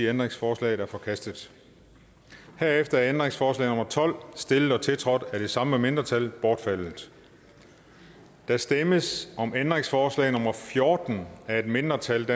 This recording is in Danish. ændringsforslaget er forkastet herefter er ændringsforslag nummer tolv stillet og tiltrådt af de samme mindretal bortfaldet der stemmes om ændringsforslag nummer fjorten af et mindretal